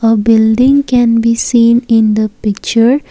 a building can be seen in the picture.